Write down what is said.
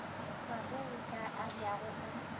bahu bo ka abjago ka